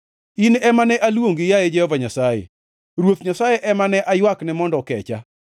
In ema ne aluongi, yaye Jehova Nyasaye; Ruoth Nyasaye ema ne aywakne mondo okecha.